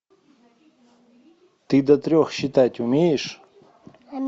ты до трех считать умеешь